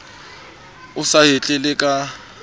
o sa hetle le ka